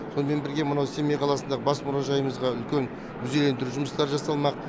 сонымен бірге мынау семей қаласындағы бас мұражайымызға үлкен музейлендіру жұмыстары жасалмақ